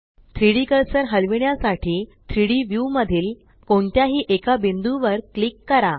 3डी कर्सर हलविण्यासाठी 3Dव्यू मधील कोणत्याही एका बिंदू वर क्लिक करा